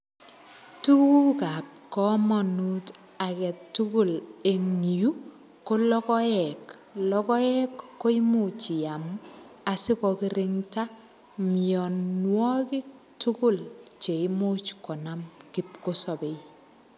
Tugukab komonut age tugul en yuu, ko logoek. Logoek, koimuch iam, asikokirinda mianwogik tugul cheimuch konam kipkosabei.